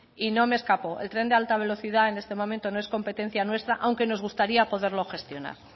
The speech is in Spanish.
y no me escapo el tren de alta velocidad en este momento no es competencia nuestra aunque nos gustaría poderlo gestionar